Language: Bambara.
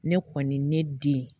Ne kɔni ne den